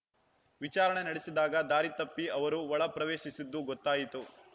ವಿಚಾರಣೆ ನಡೆಸಿದಾಗ ದಾರಿ ತಪ್ಪಿ ಅವರು ಒಳ ಪ್ರವೇಶಿಸಿದ್ದು ಗೊತ್ತಾಯಿತು